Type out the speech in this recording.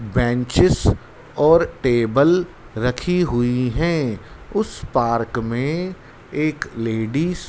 Benches और table रखी हुई है। उस पार्क में एक लेडिस --